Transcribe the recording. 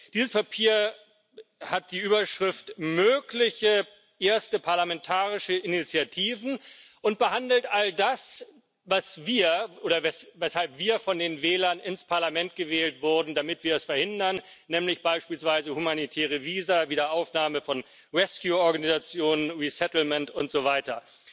Dieses Papier hat die Überschrift Mögliche erste parlamentarische Initiativen und behandelt all das, weshalb wir von den Wählern ins Parlament gewählt wurden, damit wir das verhindern, nämlich beispielsweise humanitäre Visa, Wiederaufnahme von Rescue Operationen, Resettlement und so weiter.